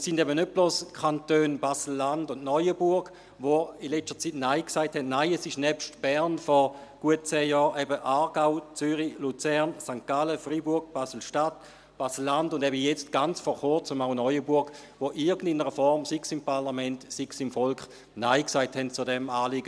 Es sind eben nicht bloss die Kantone Basel-Landschaft und Neuenburg, die in letzter Zeit Nein gesagt haben – nein, nebst Bern vor gut zehn Jahren, waren es eben Aargau, Zürich, Luzern, St. Gallen, Freiburg, Basel-Stadt, Basel-Landschaft und eben jetzt, ganz vor Kurzem, auch Neuenburg, die in irgendeiner Form, sei es im Parlament, sei es im Volk, Nein gesagt haben zu diesem Anliegen.